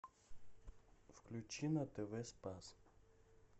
включи на тв спас